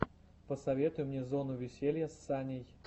посоветуй мне зону веселья с саней